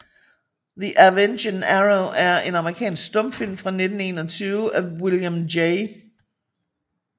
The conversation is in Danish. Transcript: The Avenging Arrow er en amerikansk stumfilm fra 1921 af William J